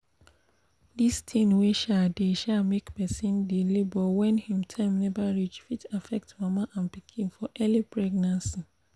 this tin wey um dey um make persin dey labor when him time never reach fit affect mama and pikin for early pregnancy